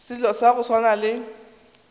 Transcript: selo sa go swana le